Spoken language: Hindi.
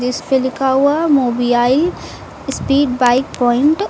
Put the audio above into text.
इस पे लिखा हुआ है मोबियाई स्पीड बाइक प्वाइंट ।